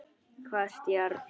Hvasst járn.